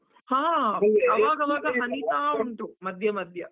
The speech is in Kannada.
ಹ, ಮಧ್ಯ ಮಧ್ಯ.